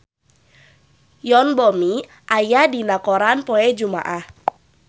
Yoon Bomi aya dina koran poe Jumaah